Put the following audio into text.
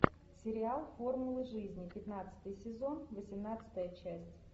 сериал формула жизни пятнадцатый сезон восемнадцатая часть